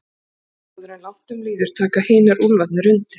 Áður en langt um líður taka hinir úlfarnir undir.